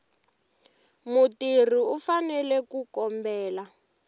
mutirhi u fanele ku kombela